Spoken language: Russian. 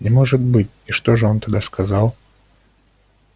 не может быть и что же он тогда сказал